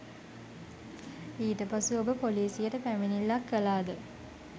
ඊට පසු ඔබ පොලිසියට පැමිණිල්ලක් කළාද?